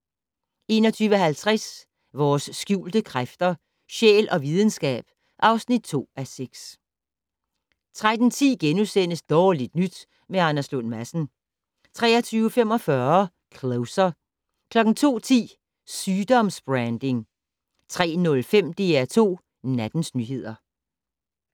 21:50: Vores skjulte kræfter - sjæl og videnskab (2:6) 23:10: Dårligt nyt med Anders Lund Madsen * 23:45: Closer 02:10: Sygdoms-branding 03:05: DR2 Nattens nyheder